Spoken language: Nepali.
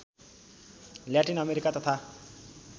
ल्याटिन अमेरिका तथा